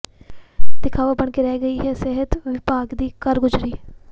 ਦਿਖਾਵਾ ਬਣ ਕੇ ਰਹਿ ਗਈ ਹੈ ਸਿਹਤ ਵਿਭਾਗ ਦੀ ਕਾਰਗੁਜ਼ਾਰੀ